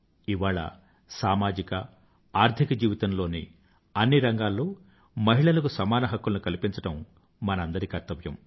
ఇవాళ సామాజిక ఆర్థిక జీవితంలోని అన్ని రంగాల్లో మహిళలకు సమాన హక్కులను కల్పించడం మనందరి కర్తవ్యం